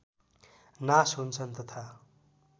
नाश हुन्छन् तथा